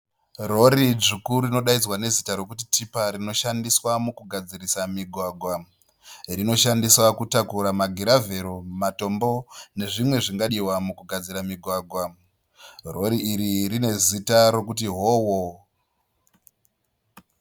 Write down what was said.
Rori dzvuku rinodaidzwa nezita rekunzi Tipa rinoshandiswa pakugadzirisa mugwagwa. rinoshandiswa pakutakuriswa matombo, negravhero, nezvimwe zvingashadiswa pakushandiswa kugadzira mugwagwa .Rori rinezita rinodaidzwa kunziHoho.